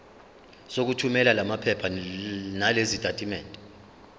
sokuthumela lamaphepha nalezitatimendi